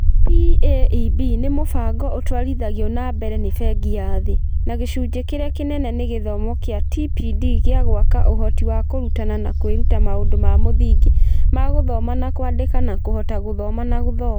PAEB nĩ mũbango ũtwarithagio na mbere nĩ Bengi ya Thĩ, na gĩcunjĩ kĩrĩa kĩnene nĩ gĩthomo kĩa TPD gĩa gwaka ũhoti wa kũrutana na kwĩruta maũndũ ma mũthingi ma gũthoma na kwandĩka na kũhota gũthoma na gũthoma.